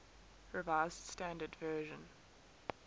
revised standard version